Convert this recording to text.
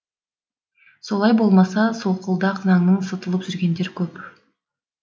солай болмаса солқылдақ заңнан сытылып жүргендер көп